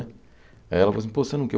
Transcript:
Aí ela falou assim, pô, você não quer?